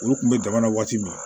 Olu kun bɛ jamana waati min